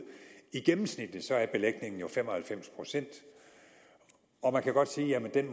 i gennemsnit er belægningen jo fem og halvfems pct og man kan godt sige at den